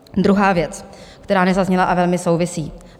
Druhá věc, která nezazněla a velmi souvisí.